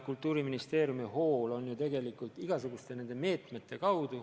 Kultuuriministeeriumi hool on tegelikult rakendada igasuguseid meetmeid.